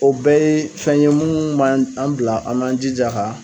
O bɛɛ ye fɛn ye mun b'an an bila an kan jija ka